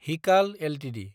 हिखाल Ltd